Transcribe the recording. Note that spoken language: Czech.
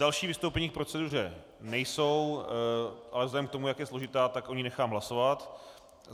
Další vystoupení k proceduře nejsou, ale vzhledem k tomu, jak je složitá, tak o ní nechám hlasovat.